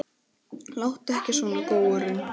Láttu ekki svona, góurinn